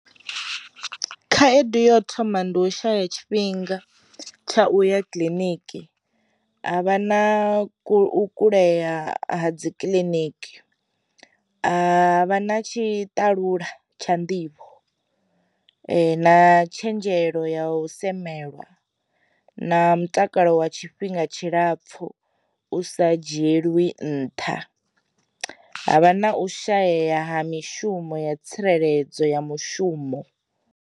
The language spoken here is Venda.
Khaedu yo thoma ndi u shaya tshifhinga tsha u ya kiḽiniki, ha vha na kulea ha dzi kiliniki, ha vha na tshi talula tsha nḓivho, na tshenzhelo ya u semelwa, na mutakalo wa tshifhinga tshilapfu u sa dzhielwi nṱha, ha vha na u shayeya ha mishumo ya tsireledzo ya mushumo.